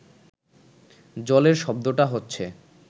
জলের শব্দটা হচ্ছে